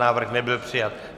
Návrh nebyl přijat.